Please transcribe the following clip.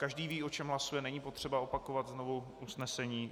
Každý ví, o čem hlasuje, není potřeba opakovat znovu usnesení.